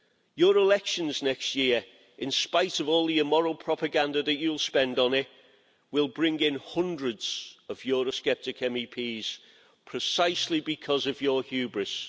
Your elections next year, in spite of all your moral propaganda that you'll spend on it, will bring in hundreds of Eurosceptic MEPs precisely because of your hubris.